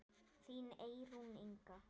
Þín Eyrún Inga.